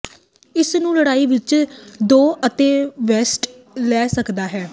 ਇਸ ਨੂੰ ਲੜਾਈ ਵਿਚ ਦੋ ਅਤੇਵੈੱਸਟ ਲੈ ਸਕਦਾ ਹੈ